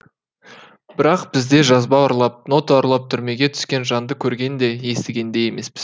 бірақ бізде жазба ұрлап нота ұрлап түрмеге түскен жанды көрген де естіген де емеспіз